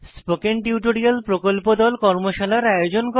spoken tutorial প্রকল্প দল কর্মশালার আয়োজন করে